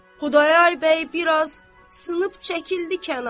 Xudayar bəy bir az sınıb çəkildi kənara.